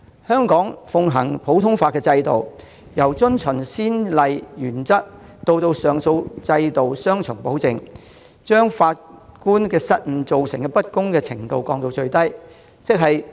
香港奉行的普通法制度，有遵循先例原則及上訴制度的雙重保證，因法官失誤而造成不公的程度降至最低。